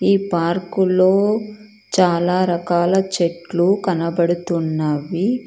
ఈ పార్కులో చాలా రకాల చెట్లు కనపడుతున్నాయి.